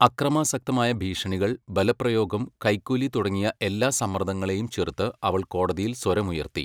അക്രമാസക്തമായ ഭീഷണികൾ, ബലപ്രയോഗം, കൈക്കൂലി തുടങ്ങിയ എല്ലാ സമ്മർദങ്ങളെയും ചെറുത്ത് അവൾ കോടതിയിൽ സ്വരമുയർത്തി.